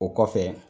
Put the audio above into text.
O kɔfɛ